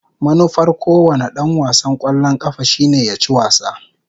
Manufar kowane dan wasan kwallon kafa shine ya ci wasa.